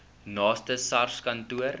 naaste sars kantoor